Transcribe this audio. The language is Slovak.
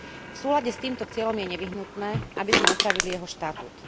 V súlade s týmto cieľom je nevyhnutné, aby sme upravili jeho štatút.